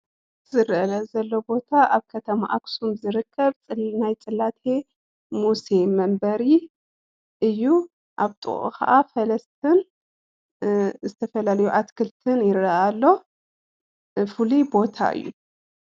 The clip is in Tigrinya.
ዝረአየና ዘሎ ቦታ ኣብ ከተማ ኣክሱም ዝርከብ ናይ ፅላቴ ሙሴ መንበሪ እዩ፡፡ ኣብ ጥቅኡ ከዓ ፈለስትን ዝተፈላለዩ ኣትክልትን ይረአ ኣሎ ፉሉይ ቦታ እዩ፡፡